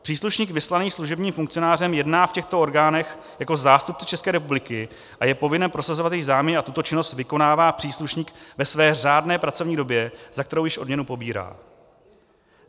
Příslušník vyslaný služebním funkcionářem jedná v těchto orgánech jako zástupce České republiky a je povinen prosazovat její záměry a tuto činnost vykonává příslušník ve své řádné pracovní době, za kterou již odměnu pobírá.